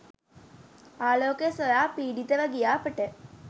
ආලෝකය සොයා පීඩිතව ගිය අපට